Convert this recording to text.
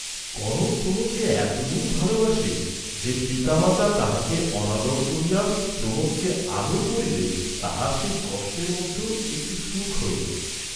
কনক প্রমোদকে এত দূর ভালবাসে যে, পিতা মাতা তাহাকে অনাদর করিয়া প্রমোদকে আদর করিলে তাহার সেই কষ্টের মধ্যেও একটি সুখ হইত।